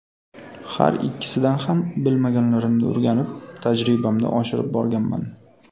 Har ikkisidan ham bilmaganlarimni o‘rganib, tajribamni oshirib borganman.